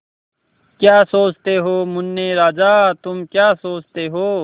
क्या सोचते हो मुन्ने राजा तुम क्या सोचते हो